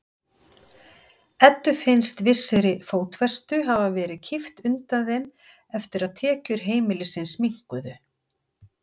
Eddu finnst vissri fótfestu hafa verið kippt undan þeim eftir að tekjur heimilisins minnkuðu.